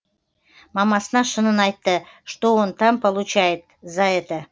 мамасына шынын айтты что он там получает за это